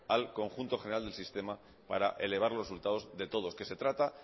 al conjunto general del sistema para elevar los resultados de todos que se trata